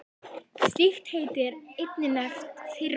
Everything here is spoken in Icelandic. Slíkt heiti er einnig nefnt firma.